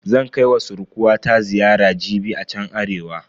Zan kai wa surkuwata ziyara jibi a chan Arewa.